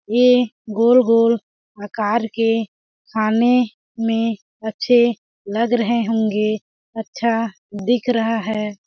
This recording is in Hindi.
ये गोल-गोल आकार के खाने में अच्छे लग रहे होंगे अच्छा दिख रहा है। .